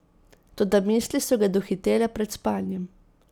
Toda misli so ga dohitele pred spanjem.